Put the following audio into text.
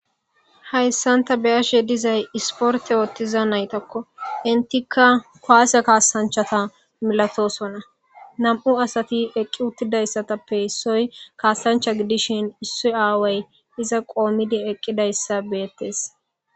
hayssan ta beyashe dizay isporte oottiza naytakko intika koase kaasanchata milatosona nam'u asati eqqi uttidayssatappe issoy kaasancha gidishin issi aaway iza qoomidi eqqidayssa beettes